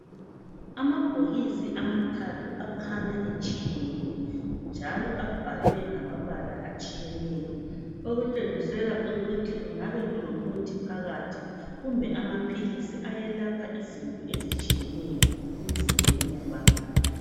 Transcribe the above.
Amabhokisi amathathu akhanya etshiyene njalo abhalwe ngamabala atshiyeneyo okutshengisela ukuthi kungabe kulomuthi phakathi kumbe amaphilisi ayelapha izinto ezitshiyeneyo emzimbeni yabantu.